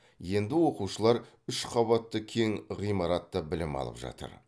енді оқушылар үш қабатты кең ғимаратта білім алып жатыр